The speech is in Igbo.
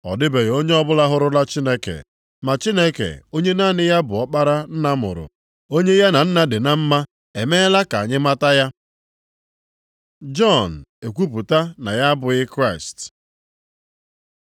Ọ dịbeghị onye ọbụla hụrụla Chineke, ma Chineke, onye naanị ya bụ Ọkpara Nna mụrụ. Onye ya na Nna dị na mma, emeela ka anyị mata ya. Jọn ekwupụta na ya abụghị Kraịst